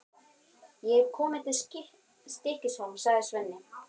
Ég hef komið til Stykkishólms, sagði Svenni.